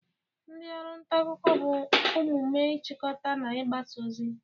Ndi oru nta akuko bu omume ichikota na igbasa ozi.